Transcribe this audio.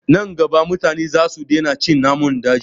Nan gaba mutane za su daina cin namun daji